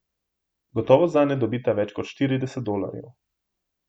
Gotovo zanj ne dobita več kot štirideset dolarjev.